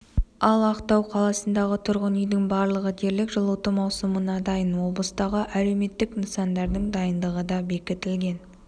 ал ақтау қаласындағы тұрғын үйдің барлығы дерлік жылыту маусымына дайын облыстағы әлеуметтік нысандардың дайындығы да бекітілген